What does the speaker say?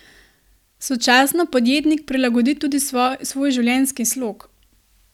Sočasno podjetnik prilagodi tudi svoj življenjski slog.